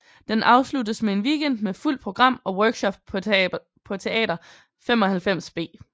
Den afsluttes med en weekend med fuldt program og workshop på Teater 95B